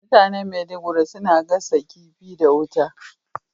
Mutanen Maiduguri suna gasa kifi da wuta.